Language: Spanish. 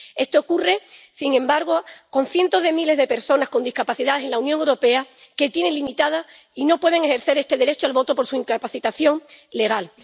Esto ocurre con cientos de miles de personas con discapacidad en la Unión Europea que tienen limitado y no pueden ejercer este derecho al voto por su incapacitación legal.